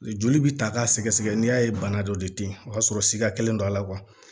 Joli bi ta k'a sɛgɛsɛgɛ n'i y'a ye bana dɔ de te yen o y'a sɔrɔ sikakɛlen don a la